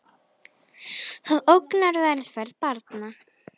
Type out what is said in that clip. Það ógnar velferð barna.